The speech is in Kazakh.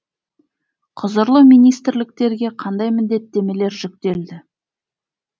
құзырлы министрліктерге қандай міндеттемелер жүктелді